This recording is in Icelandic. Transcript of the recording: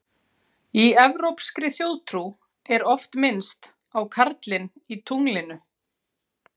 Í evrópskri þjóðtrú er oft minnst á karlinn í tunglinu.